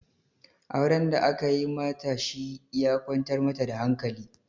Auren da aka yi mata shi ya kwantar mata da hankali